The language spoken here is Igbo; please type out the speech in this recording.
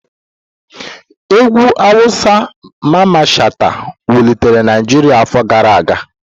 Egwu awusa Mamman Shata wulitere Naijiria afọ gara aga.